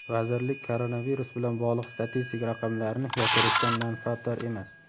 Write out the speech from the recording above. vazirlik koronavirus bilan bog‘liq statistik raqamlarni yashirishdan manfaatdor emas.